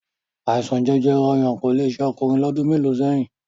Àìsàn jẹjẹrẹ ọyàn kò le ṣe ọkùnrin lọ́dún mélòó sẹ́yìn